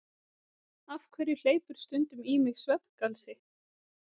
Af hverju hleypur stundum í mig svefngalsi?